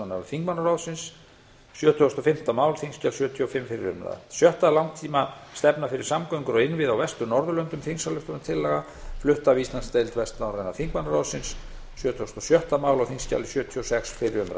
mál þingskjal sjötugasta og fimmta fyrri umræðu sjötta langtímastefna fyrir samgöngur og innviði á vestur norðurlöndum þingsályktunartillögu sjötugasta og sjötta mál þingskjal sjötugasta og sjötta fyrri umræðu